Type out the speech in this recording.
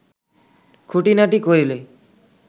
খুঁটিনাটি করিলে